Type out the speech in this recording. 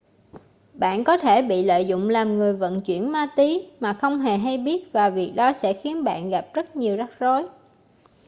bạn có thể bị lợi dụng làm người vận chuyển ma túy mà không hề hay biết và việc đó sẽ khiến bạn gặp rất nhiều rắc rối